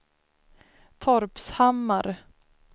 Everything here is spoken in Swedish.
Torpshammar